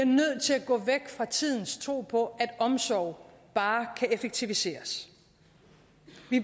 nødt til at gå væk fra tidens tro på at omsorg bare kan effektiviseres